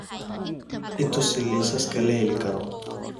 i tuso liisaska la heli karo